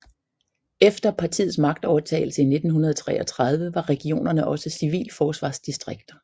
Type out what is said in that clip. Efter partiets magtovertagelse i 1933 var regionerne også civilforsvarsdistrikter